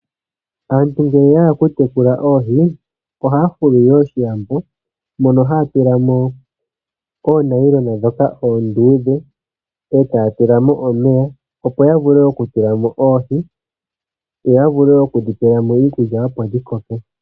Aantu ngele ya hala oku tekula oohi, ohaya fulu wo oshilambo, mono haya tula mo oonayilona ndhoka oonduudhe, e taya tula mo omeya, opo ya vule oku tula mo oohi, yo ya vule wo oku dhi pela mo iikulya, dho dhi koke.